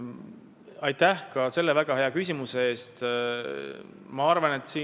Aitäh ka selle väga hea küsimuse eest!